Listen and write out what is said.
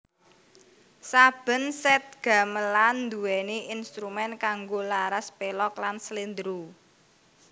Saben sèt gamelan nduwèni instrumén kanggo laras pélog lan sléndra